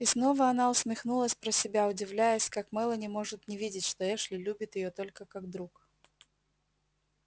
и снова она усмехнулась про себя удивляясь как мелани может не видеть что эшли любит её только как друг